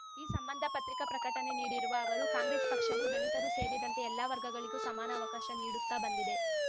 ಈ ಸಂಬಂಧ ಪತ್ರಿಕಾ ಪ್ರಕಟಣೆ ನೀಡಿರುವ ಅವರು ಕಾಂಗ್ರೆಸ್‌ ಪಕ್ಷವು ದಲಿತರೂ ಸೇರಿದಂತೆ ಎಲ್ಲ ವರ್ಗಗಳಿಗೂ ಸಮಾನ ಅವಕಾಶ ನೀಡುತ್ತಾ ಬಂದಿದೆ